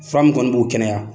Fura mun b'u kɛnɛya.